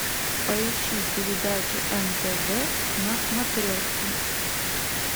поищи передачу нтв на смотрешке